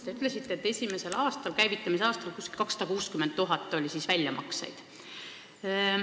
Te ütlesite, et esimesel aastal, käivitamise aastal tehti väljamakseid 260 000 euro ulatuses.